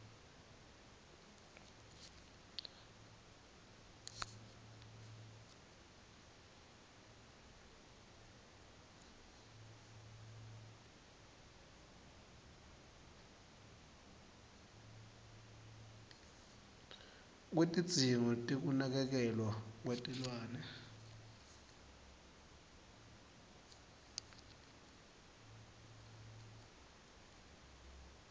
kwetidzingo tekunakekelwa kwetilwane